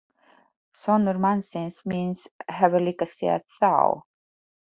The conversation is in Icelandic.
Sonur mannsins míns hefur líka séð þá.